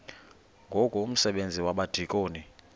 ngoku umsebenzi wabadikoni